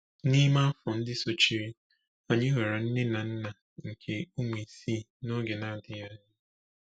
N’ime afọ ndị sochiri, anyị ghọrọ nne na nna nke ụmụ isii n’oge na-adịghị anya.